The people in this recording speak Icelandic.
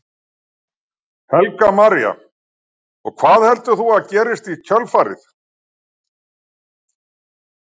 Helga María: Og hvað heldur þú að gerist í kjölfarið?